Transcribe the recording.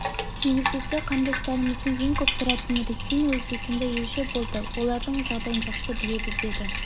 негізгісі қандастарымыздың ең көп тұратын ресей мен өзбекстанда елші болды олардың жағдайын жақсы біледі деді